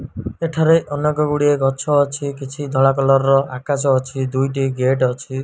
ଏଠାରେ ଅନେକ ଗୁଡ଼ିଏ ଗଛ ଅଛି କିଛି ଧଳା କଲର୍ ର ଆକାଶ ଅଛି ଦୁଇଟି ଗେଟ୍ ଅଛି।